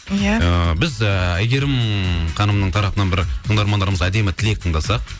иә ыыы біз әйгерім ханымның тарапынан бір тыңдармандарымыз әдемі тілек тыңдасақ